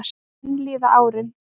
Enn líða árin.